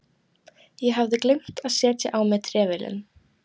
Ég hafði gleymt að setja á mig trefilinn.